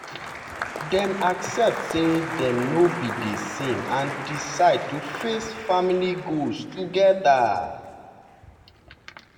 dem accept say dem no be the same and decide to face family goals together.